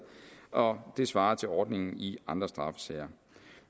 og det svarer til ordningen i andre straffesager